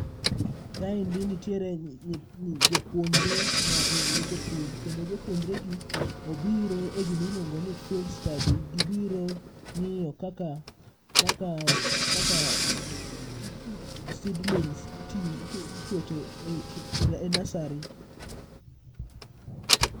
Kaendi nitiere nyi jopuonjre mag weche pur, kendo jopuonjre gi obiro e gimiluongo ni field study. Gibiro ng'iyo kaka, kaka seedlings iketo e nasari.